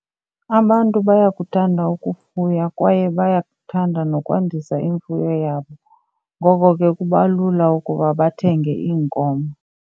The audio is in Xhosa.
Abantu bayakuthanda ukufuya kwaye bayakuthanda nokwandisa imfuyo yabo. Ngoko ke kuba lula ukuba bathenge iinkomo.